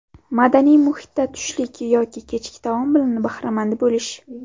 Madaniy muhitda tushlik yoki kechki taom bilan bahramand bo‘lish.